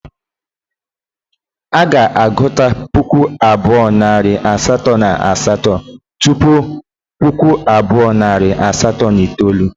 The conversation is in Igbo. A ga-agụta puku abuo na iri asato na asato tupu puku abuo na iri asato na itoolu.